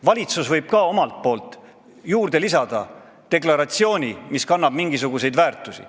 Valitsus võib omalt poolt lisada deklaratsiooni, mis kannab mingisuguseid väärtusi.